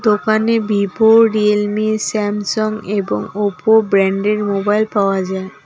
দোকানে Vivo Realme Samsung এবং Oppo brand এর মোবাইল পাওয়া যায়।